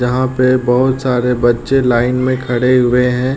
जहां पे बोहोत सारे बच्चे लाइन में खड़े हुए हैं।